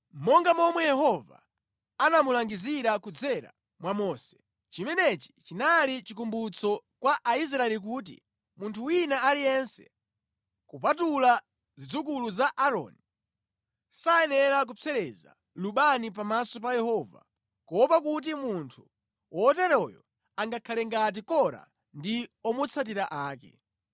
monga momwe Yehova anamulangizira kudzera mwa Mose. Chimenechi chinali chikumbutso kwa Aisraeli kuti munthu wina aliyense, kupatula zidzukulu za Aaroni, sayenera kupsereza lubani pamaso pa Yehova, kuopa kuti munthu woteroyo angakhale ngati Kora ndi omutsatira ake.